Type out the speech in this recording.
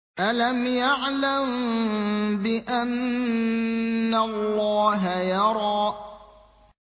أَلَمْ يَعْلَم بِأَنَّ اللَّهَ يَرَىٰ